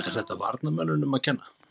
Er þetta varnarmönnunum að kenna?